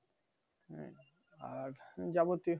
আর যাবতীয়